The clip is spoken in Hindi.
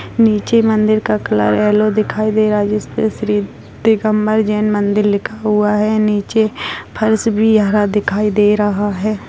नीचे मंदिर का कलर येलो दिखाई दे रहा है जिस पे श्री दिगंबर जैन मंदिर लिखा हुआ है नीचे फर्श भी हरा दिखाई दे रहा है।